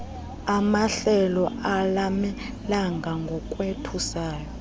amahlelo alanelanga ngokothusayo